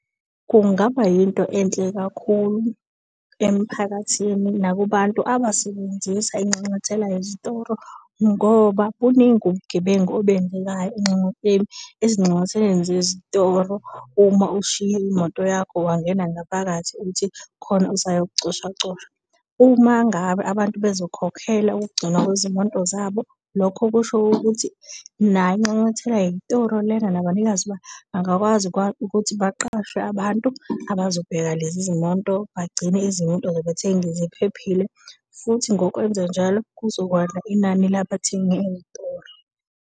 Kungaba yinto enhle kakhulu emphakathi nakubantu abasebenzisa inxanxathela yezitoro ngoba buningi ubugebengu obenzekayo ezinxanxatheleni zezitoro uma ushiya imoto yakho, wangena ngaphakathi uthi kukhona usayo kucoshacosha. Uma ngabe abantu bezokhokhela ukugcinwa kwezimoto zabo, lokho kusho ukuthi nayo inxanxathela yezitoro lena nabanikazi bangakwazi ukuthi baqashwe abantu abazobheka lezi zimoto, bagcine izimoto zabathengi ziphephile, futhi ngokwenze njalo kuzokwanda inani labathengi ey'tolo.